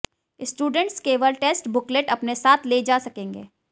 students केवल test booklet अपने साथ ले जा सकेंगे